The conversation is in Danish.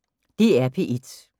DR P1